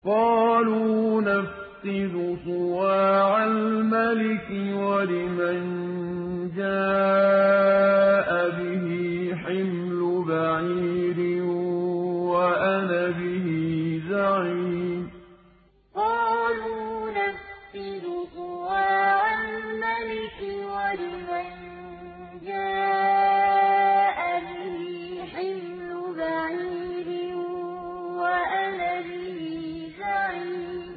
قَالُوا نَفْقِدُ صُوَاعَ الْمَلِكِ وَلِمَن جَاءَ بِهِ حِمْلُ بَعِيرٍ وَأَنَا بِهِ زَعِيمٌ قَالُوا نَفْقِدُ صُوَاعَ الْمَلِكِ وَلِمَن جَاءَ بِهِ حِمْلُ بَعِيرٍ وَأَنَا بِهِ زَعِيمٌ